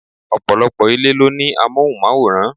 Ọ̀pọ̀lọpọ̀ ilé ló ní amohunmaworan.